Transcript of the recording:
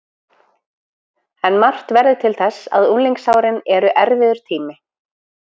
En margt verður til þess að unglingsárin eru erfiður tími.